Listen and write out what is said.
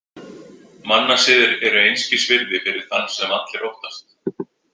Mannasiðir eru einskis virði fyrir þann sem allir óttast.